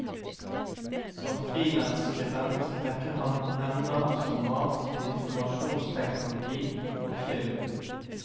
Som frilansskribent dekker han emner som mat, informasjonsteknologi og film.